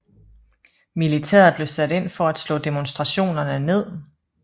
Militæret blev sat ind for at slå demonstrationerne ned